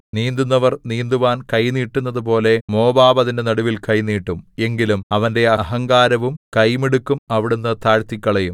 നീന്തുന്നവൻ നീന്തുവാൻ കൈ നീട്ടുന്നതുപോലെ മോവാബ് അതിന്റെ നടുവിൽ കൈ നീട്ടും എങ്കിലും അവന്റെ അഹങ്കാരവും കൈമിടുക്കും അവിടുന്ന് താഴ്ത്തിക്കളയും